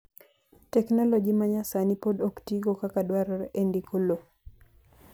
teknoloji ma nyasani pod ok tigo kaka dwarore e ndiko lowo